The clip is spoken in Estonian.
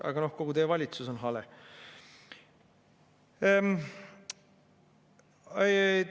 Aga noh, kogu teie valitsus on hale.